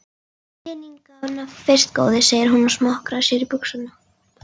Peningana fyrst góði, segir hún og smokrar sér úr buxunum.